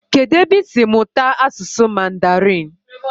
Kedụ ebe isi mụta asụsụ mandarin?